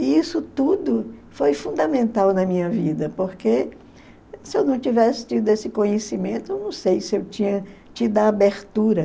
E isso tudo foi fundamental na minha vida, porque se eu não tivesse tido esse conhecimento, eu não sei se eu tinha tido a abertura.